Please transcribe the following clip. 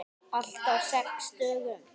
Allt á sex dögum.